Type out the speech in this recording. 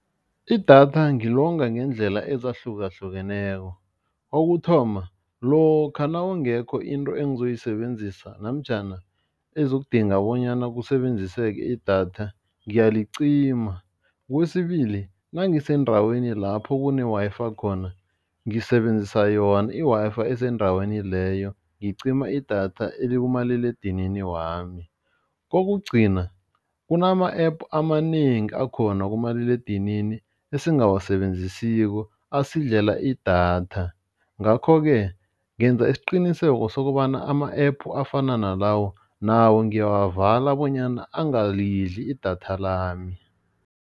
Idatha ngilonga ngendlela ezahlukahlukeneko, kokuthoma lokha nawungekho into engizoyisebenzisa namtjhana ezokudinga bonyana kusebenziseke idatha ngiyalicima. Kwesibili, nangisendaweni lapho kune-Wi-Fi khona ngisebenzisa yona i-Wi-Fi esendaweni leyo ngicima idatha elikumaliledinini wami. Kokugcina, kunama-app amanengi akhona kumaliledinini esingawasebenzisiko asidlela idatha ngakho-ke, ngenza isiqiniseko sokobana ama-app afana nalawo nawo ngiyawavala bonyana angalidla idatha lami.